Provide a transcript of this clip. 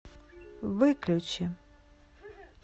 выключи